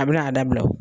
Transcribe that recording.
A bɛna a dabila o